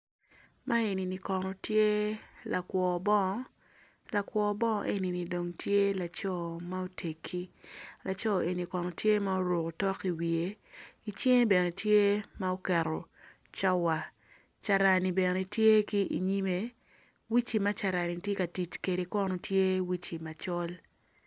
Ma enini kono tye lakwo bongo lakwo bongo enini kono tye laco mutegi laco enini kono tye ma oruko otok iwiye icinge bene tye ma okedo cawa carani bene tye ki inyimme uci ma carani tye ka tic kwede kono tye uci macol.